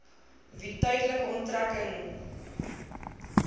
wie tydelike onttrekking